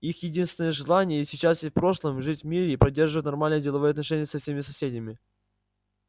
их единственное желание и сейчас и в прошлом жить в мире и поддерживать нормальные деловые отношения со всеми соседями